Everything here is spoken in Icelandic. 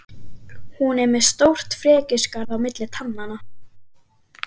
Hún er með stórt frekjuskarð á milli tannanna.